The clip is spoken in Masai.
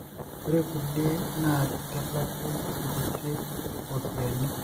ore kulie na kitalaku inkuti ropiani,